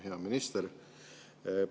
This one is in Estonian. Hea minister!